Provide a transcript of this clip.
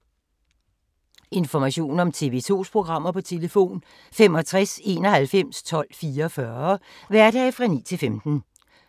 Information om TV 2's programmer: 65 91 12 44, hverdage 9-15.